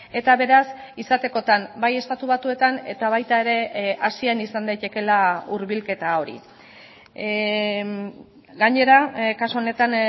eta beraz izatekotan bai estatu batuetan eta baita ere asian izan daitekeela hurbilketa hori gainera kasu honetan